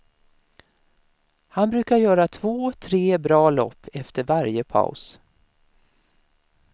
Han brukar göra två tre bra lopp efter varje paus.